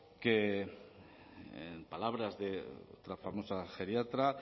que en palabras de la famosa geriatra